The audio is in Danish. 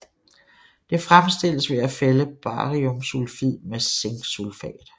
Det fremstilles ved at fælde bariumsulfid med zinksulfat